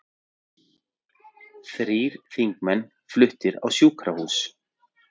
Þrír þingmenn fluttir á sjúkrahús